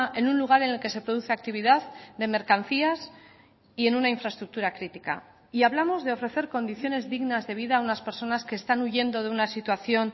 en un lugar en el que se produce actividad de mercancías y en una infraestructura crítica y hablamos de ofrecer condiciones dignas de vida a unas personas que están huyendo de una situación